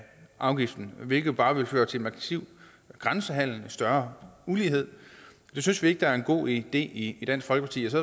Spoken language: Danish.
afgiften hvilket bare vil føre til en massiv grænsehandel og til større ulighed det synes vi ikke er en god idé i dansk folkeparti og så